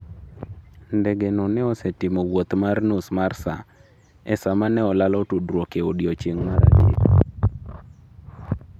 Ndege no ne osetimo wuoth mar nus mar saa, e sama ne olalo tudruok e odiechieng’ mar adek.